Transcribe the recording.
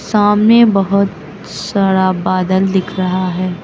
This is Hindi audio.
सामने बहोत सारा बदला दिख रहा है।